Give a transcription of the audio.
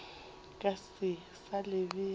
ka se sa le bea